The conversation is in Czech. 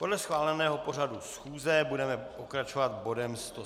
Podle schváleného pořadu schůze budeme pokračovat bodem